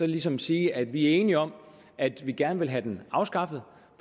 ligesom sige at vi er enige om at vi gerne vil have den afskaffet